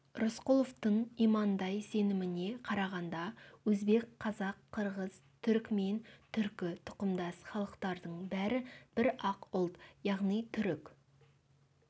рысқұловтың имандай сеніміне қарағанда өзбек қазақ қырғыз түрікмен түркі тұқымдас халықтардың бәрі бір-ақ ұлт яғни түрік